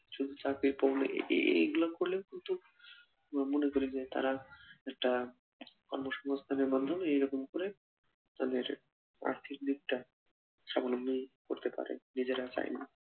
শুধু চাকরি করে এই এই এই গুলো করলে কিন্তু মনে করি যে তারা একটা কর্মসংস্থানের মাধ্যমে এইরকম করে তাদের আর্থিক দিকটা স্বাবলম্বী করতে পারে নিজের চাইলেই